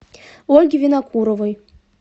ольги винокуровой